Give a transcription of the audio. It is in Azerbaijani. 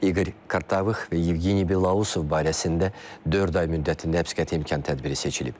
İqor Kartavıx və Yevgeniy Belausov barəsində dörd ay müddətində həbsqəti imkan tədbiri seçilib.